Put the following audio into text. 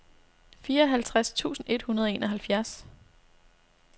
fireoghalvtreds tusind et hundrede og enoghalvfjerds